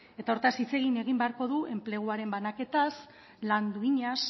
eta horretaz hitz egin beharko du enpleguaren banaketaz lan duinaz